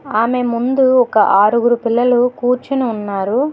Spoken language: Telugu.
ఆమె ముందు ఒక ఆరుగురు పిల్లలు కూర్చుని ఉన్నారు.